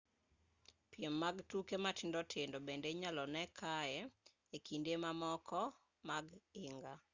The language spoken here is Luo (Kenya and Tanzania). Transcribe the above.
piem mag tuke matindo tindo bende inyalo nee kaye e kinde mamoko mag higa